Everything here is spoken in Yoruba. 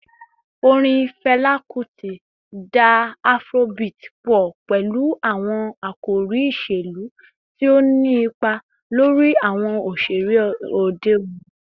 Orin Fẹla Kuti da Afrobeat pọ pẹlu awọn akori iṣelu, ti o ni ipa lori awọn oṣere ode oni.